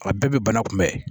A bɛɛ bɛ bana kunbɛn